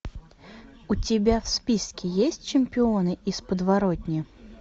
у тебя в списке есть чемпионы из подворотни